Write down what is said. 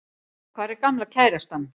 Hvar er gamla kærastan?